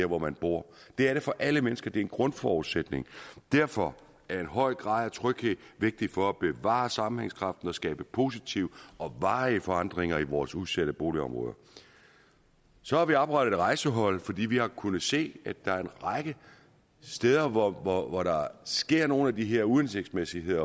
hvor man bor det er det for alle mennesker det er en grundforudsætning derfor er en høj grad af tryghed vigtig for at bevare sammenhængskraften og skabe positive og varige forandringer i vores udsatte boligområder så har vi oprettet et rejsehold fordi vi har kunnet se at der er en række steder hvor hvor der sker nogle af de her uhensigtsmæssige